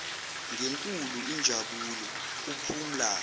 ngenkulu injabulo kuphumla